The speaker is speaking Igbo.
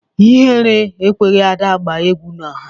Ihere ekweghị Ada gbaa egwu n'ọha